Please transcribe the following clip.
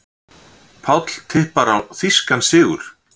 Páll tippar á þýskan sigur